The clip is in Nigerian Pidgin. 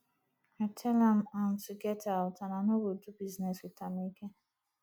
i tell am am to get out and i no go do business with am again